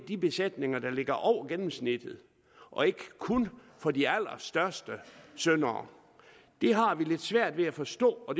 de besætninger der ligger over gennemsnittet og ikke kun for de allerstørste syndere det har vi lidt svært ved at forstå og